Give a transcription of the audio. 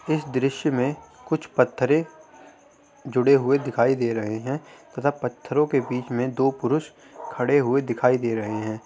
इस दृश्य में कुछ पत्थरे जूड़े हुए दिखाई दे रहे हैं तथा पत्थरों के बीच दो पुरुष खड़े हुए दिखाई दे रहे हैं |